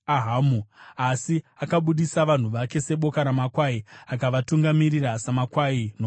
Asi akabudisa vanhu vake seboka ramakwai; akavatungamirira samakwai nomugwenga.